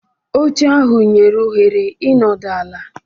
Oche ahụ nyere ohere ịnọdụ ala.